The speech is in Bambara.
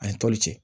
A ye toli cɛ